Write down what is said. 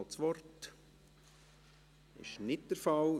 – Das ist nicht der Fall.